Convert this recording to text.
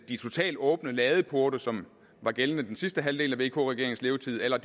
de totalt åbne ladeporte som var gældende den sidste halvdel af vk regeringens levetid eller